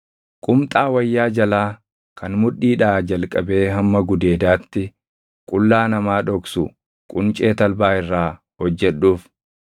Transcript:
“Qumxaa wayyaa jalaa kan mudhiidhaa jalqabee hamma gudeedaatti qullaa namaa dhoksu quncee talbaa irraa hojjedhuuf.